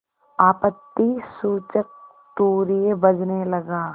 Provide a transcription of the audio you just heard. आपत्तिसूचक तूर्य बजने लगा